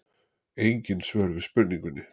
Engin svör við spurningunni.